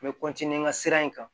N bɛ n ka sira in kan